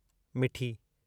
मिठी